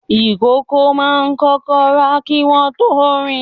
ìkókó máa ń kọ́kọ́ rà kí wọ́n tó rìn.